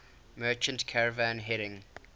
merchant caravan heading